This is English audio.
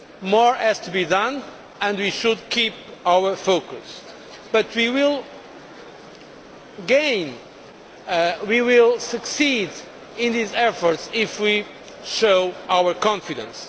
More has to be done, and we should keep our focus, but we will gain, we will succeed in these efforts if we show our confidence.